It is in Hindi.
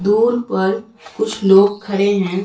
दूर पर कुछ लोग खड़े हैं।